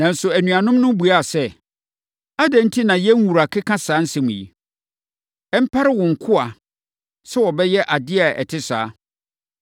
Nanso, anuanom no buaa no sɛ, “Adɛn enti na yɛn wura keka saa nsɛm yi? Ɛmpare wo nkoa sɛ wɔbɛyɛ adeɛ a ɛte saa!